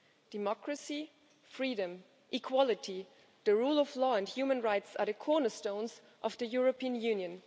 Democracy, freedom, equality, the rule of law and human rights are the cornerstones of the European Union.